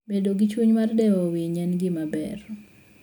Bedo gi chuny mar dewo winy en gima ber.